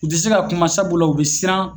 U ti se ka kuma sabula u bi siran